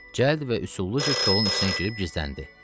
Cəld və usulluca kolun içinə girib gizləndi.